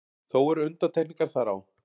Þó eru undantekningar þar á.